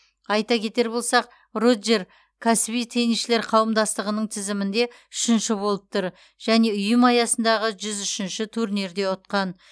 айта кетер болсақ роджер кәсіби теннисшілер қауымдастығының тізімінде үшінші болып тұр және ұйым аясындағы жүз үш турнирде ұтқан